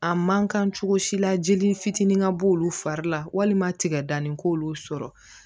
A man kan cogo si la jeli fitinin ka b'olu fari la walima tigɛdani k'olu sɔrɔ